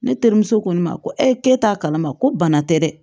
Ne terimuso ko ne ma ko ee ke t'a kalama ko bana tɛ dɛ